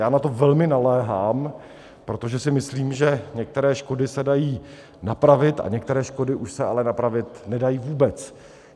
Já na to velmi naléhám, protože si myslím, že některé škody se dají napravit, a některé škody už se ale napravit nedají vůbec.